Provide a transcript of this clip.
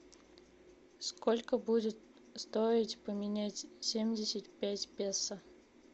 сколько будет стоить поменять семьдесят пять песо